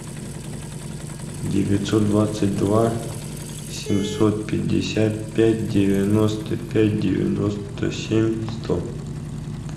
девятьсот двадцать два семьсот пятьдесят пять девяносто пять девяносто семь сто